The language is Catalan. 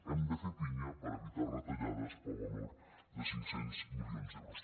hem de fer pinya per evitar retallades per valor de cinc cents milions d’euros